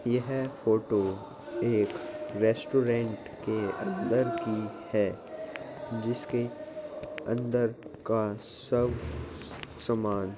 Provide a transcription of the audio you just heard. ये है फोटो एक रेस्टोरेंट के अंदर की है जिसके अंदर का सब समान --